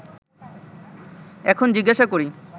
এখন জিজ্ঞাসা করি